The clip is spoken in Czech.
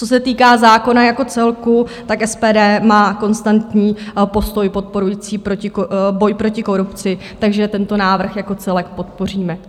Co se týká zákona jako celku, tak SPD má konstantní postoj podporující boj proti korupci, takže tento návrh jako celek podpoříme.